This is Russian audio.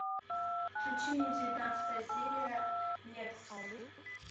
включи мне девятнадцатая серия лекс